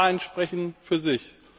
Die Zahlen sprechen für sich.